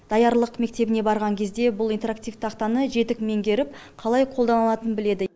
даярлық мектебіне барған кезде бұл интерактив тақтаны жетік меңгеріп қалай қолданылатынын біледі